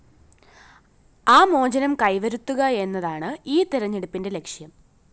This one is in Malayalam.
ആ മോചനം കൈവരുത്തുക എന്നതാണ് ഈ തെരഞ്ഞെടുപ്പിന്റെ ലക്ഷ്യം